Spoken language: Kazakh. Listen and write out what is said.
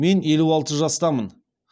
мен елу алты жастамын